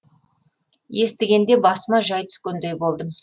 естігенде басыма жай түскендей болдым